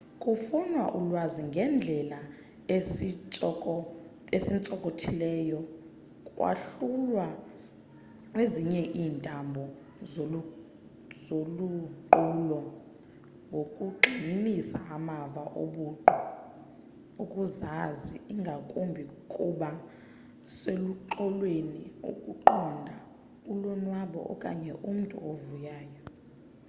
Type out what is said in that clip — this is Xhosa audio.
ukufuna ulwazi ngeendlela ezintsokothileyo kwahlulwa kwezinye iintlobo zoluqulo ngokugxininisa amava obuqu okuzazi ingakumbi ukuba seluxolweni ukuqonda ulonwabo okanye umntu ovuyayo